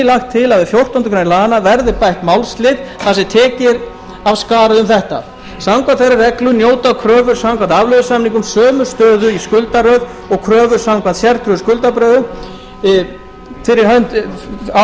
lagt til að við fjórtándu greinar laganna verði bætt málslið þar sem tekið er af skarið um þetta samkvæmt þeirri reglu njóta kröfur samkvæmt afleiðusamningum sömu stöðu í skuldaröð og kröfur samkvæmt sértryggðu skuldabréfi á